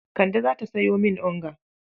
Kande za ta sayo min onga